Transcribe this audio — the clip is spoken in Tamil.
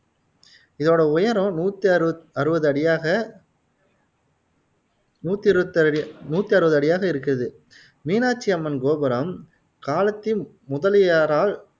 இதோட உயரம் நூத்து அறுபது அடியாக நூத்தி அறுவது அரு நூத்தி அறுவது அடியாக இருக்குது மீனாட்சி அம்மன் கோபுரம் காலத்தின் முதலியாரால்